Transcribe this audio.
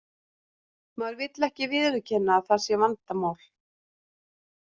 Maður vill ekki viðurkenna að það sé vandamál.